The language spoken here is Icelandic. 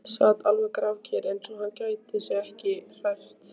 Sat alveg grafkyrr, eins og hann gæti sig ekki hrært.